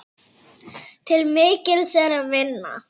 Til mikils er að vinna.